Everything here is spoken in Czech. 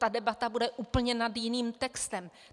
Ta debata bude úplně nad jiným textem!